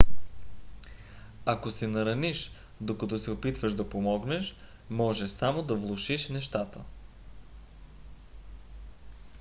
ако се нараниш докато се опитваш да помогнеш може само да влошиш нещата